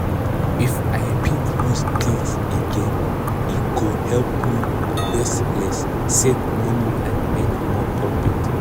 if i fit use things again e go help me waste less save money and make more profit.